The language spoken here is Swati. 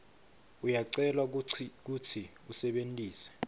uyacelwa kutsi usebentise